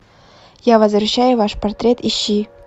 я возвращаю ваш портрет ищи